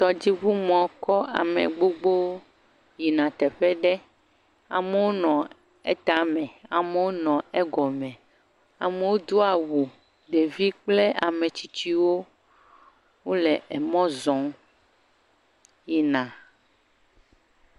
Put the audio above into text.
Tɔdziŋu mɔ kɔ ame gbogbowo yina teƒe ɖe, amewo nɔ etame, amewo nɔ egɔme, amewo do awu, ɖevi kple ametsitsiwo wole emɔ zɔ yina.